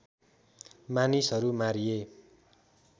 मानिसहरू मारिए